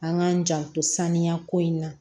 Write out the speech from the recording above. An k'an janto saniya ko in na